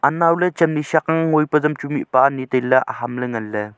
anaw ley chamdi shak ang ngoinpa azam chu mihpa anyi tailey aham ley nganley.